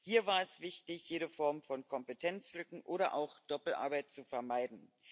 Hier war es wichtig, jede Form von Kompetenzlücken oder auch Doppelarbeit zu vermeiden.